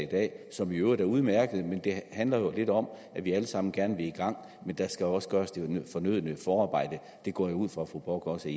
dag som i øvrigt ellers er udmærket det handler jo lidt om at vi alle sammen gerne vil i gang men der skal også gøres det fornødne forarbejde det går jeg ud fra at fru bock også